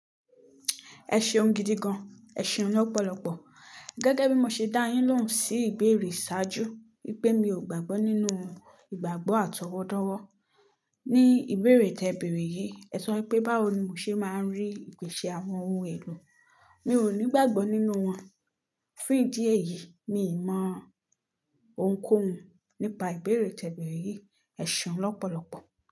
Ẹ ṣeun gidi gan, ẹ ṣeun lọ́pọ̀lọpọ̀. Gẹ́gẹ́ bí mo ṣe dá yín lóhùn sí ìbéèrè ṣáájú wípé mi ò gbàgbọ́ nínú ìgbàgbọ́ àtọwọ́dọ́wọ́. Ni ìbéèrè tẹ béèrè yìí, ẹ sọ wípé báwo ni mo ṣe máa rí ìpèsè àwọn ohun èlò? Mi ò nígbàgbọ́ nínú wọn. Fún ìdí èyí, mi ò mọ ohunkóhun nípa ìbéèrè tẹ ìbéèrè yìí. Ẹ ṣeun lọ́pọ̀lọpọ̀.